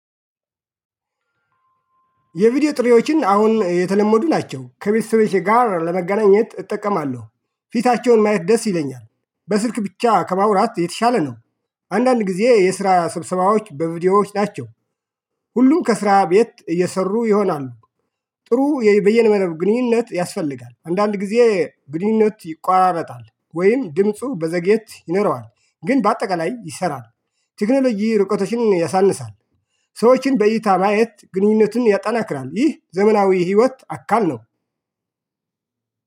የቪዲዮ ጥሪዎችን አሁን የተለመዱ ናቸው ከቤተሰብ ጋር ለመገናኘት እጠቀማለሁ ፊታቸውን ማየት ደስ ይለኛል በስልክ ብቻ ከማውራት የተሻለ ነው። አንዳንድ ጊዜ የስራ ስብሰባዎች በቪዲዮዎች ናቸው። ሁሉም ከስራ ቤት እየሰሩ ይሆናሉ። ጥሩ በየንመረብ ግንኙነት ያስፈልጋል አንዳንድ ጊዜ ግንኙነት ይቆራረጣል ወይም ድምፁ በዘግየት ይኖረዋል ግን በአጠቃላይ ይሰራል። ቴክኖሎጂ ርቆቶችን ያሳንሳል። ሰዎችን በይታ ማየት ግንኙነቱን ያጠናክራል ይህ ዘመናዊ ህይወት አካል ነው።